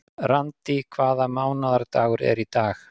Randý, hvaða mánaðardagur er í dag?